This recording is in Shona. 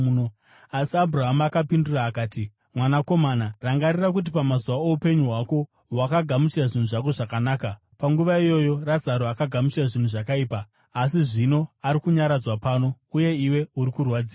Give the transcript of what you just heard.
“Asi Abhurahama akapindura akati, ‘Mwanakomana, rangarira kuti pamazuva oupenyu hwako wakagamuchira zvinhu zvako zvakanaka, panguva iyoyo Razaro akagamuchira zvinhu zvakaipa, asi zvino ari kunyaradzwa pano, uye iwe uri kurwadziwa.